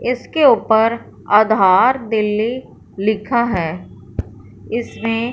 इसके ऊपर आधार दिल्ली लिखा है इसमें--